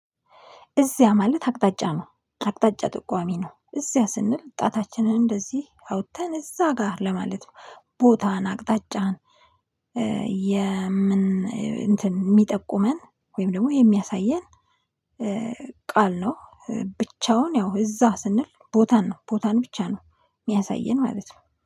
እዚያ ማለት አቅጣጫ ነው። አቅጣጫ ጥቋሚ ነው። እዚያ ስንል ጣታችንን እንደዚህ አውጥተን እዛ ጋር ለማለት ነው። ቦታን አቅጣጫን የምን እንትን ሚጠቁመን ወይም ደግሞ የሚያሳየን ቃል ነው ብቻውን ያው እዛ ስንል ቦታን ነው ቦታን ብቻ ነው የሚያሳየን ማለት ነው።